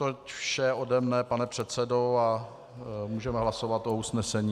Toť vše ode mne, pane předsedo, a můžeme hlasovat o usnesení.